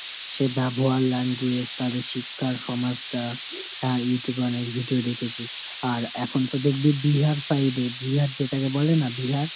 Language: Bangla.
সে ব্যবহার language তাদের শিক্ষা, সমাজটা। আহ Youtube এ অনেক video দেখেছি। আর এখন তো দেখবি Bihar side এ, Bihar যেটাকে বলে না Bihar ?